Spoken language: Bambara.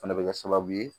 Fana bɛ kɛ sababu ye